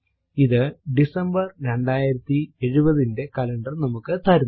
ഇത് ഡിസംബർ 2070 ന്റെ കലണ്ടർ നമുക്ക് തരുന്നു